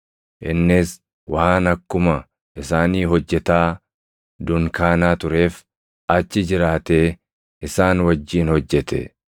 Innis waan akkuma isaanii hojjetaa dunkaanaa tureef achi jiraatee isaan wajjin hojjete.